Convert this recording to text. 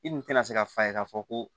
I dun tɛna se ka f'a ye k'a fɔ ko